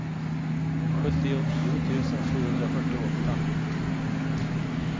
sjuttionio tusen sjuhundrafyrtioåtta